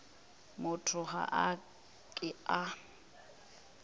motho ga a ke a